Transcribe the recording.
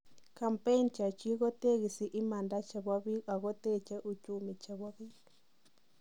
kampein chechik kotegesi imanda chebo biik ago teche uchumi chebo biik